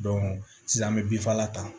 sisan an bɛ bifala ta